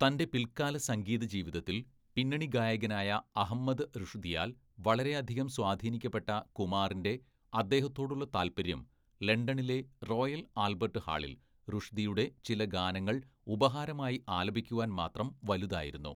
തൻ്റെ പിൽക്കാല സംഗീത ജീവിതത്തിൽ പിന്നണി ഗായകനായ അഹമ്മദ് റുഷ്ദിയാൽ വളരെയധികം സ്വാധീനിക്കപ്പെട്ട കുമാറിൻ്റെ അദ്ദേഹത്തോടുള്ള താൽപര്യം, ലണ്ടനിലെ റോയൽ ആൽബർട്ട് ഹാളിൽ റുഷ്ദിയുടെ ചില ഗാനങ്ങൾ ഉപഹാരമായി ആലപിക്കുവാൻ മാത്രം വലുതായിരുന്നു.